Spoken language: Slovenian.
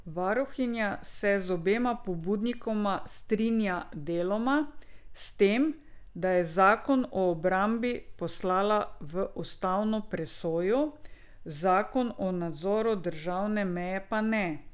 Varuhinja se z obema pobudnikoma strinja deloma, s tem, da je zakon o obrambi poslala v ustavno presojo, zakon o nadzoru državne meje pa ne.